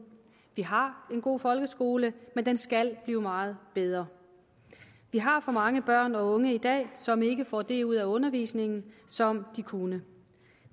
vi har en god folkeskole men den skal blive meget bedre vi har for mange børn og unge i dag som ikke får det ud af undervisningen som de kunne